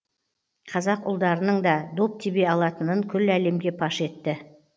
қазақ ұлдарының да доп тебе алатынын күллі әлемге паш етті